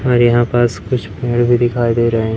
और यहां पास कुछ पेड़ भी दिखाई दे रहे--